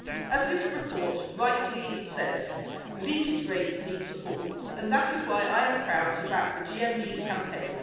As this report rightly says, leakage rates need to fall, and that is why I am proud to back the GMB's campaign.